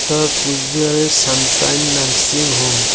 এটা কুচবিহারের sunshine nursing home.